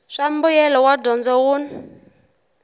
swa mbuyelo wa dyondzo wun